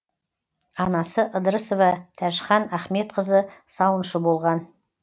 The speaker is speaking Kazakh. анасы ыдрысова тәжхан ахметқызы сауыншы болған